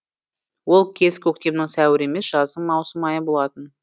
ол кез көктемнің сәуірі емес жаздың маусым айы болатын